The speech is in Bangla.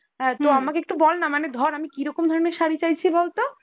অ্যাঁ তো আমাকে একটু বল না, মানে ধর আমি কীরকম ধরনের শাড়ি চাইছি বল তো